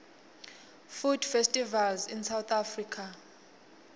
food festivals in south africa